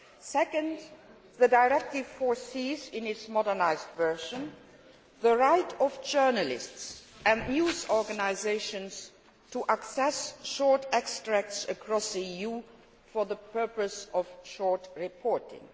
Secondly, the directive foresees in its modernised version the right of journalists and news organisations to access short extracts across the EU for the purpose of short reporting.